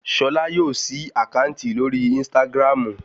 Ṣolá yóò ṣí àkáǹtì lórí ínstágráàmù